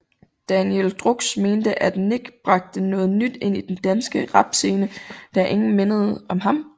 Danijel Drux mente at Nick bragte noget nyt ind til den danske rapscene da ingen mindede om ham